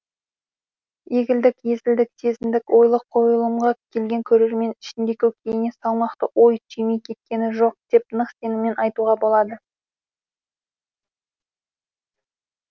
егілдік езілдік сезіндік ойлы қойылымға келген көрермен ішінде көкейіне салмақты ой түймей кеткені жоқ деп нық сеніммен айтуға болады